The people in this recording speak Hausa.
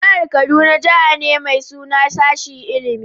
Jihar kaduna Jihar ne mai suna sashin ilimie.